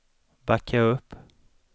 backa upp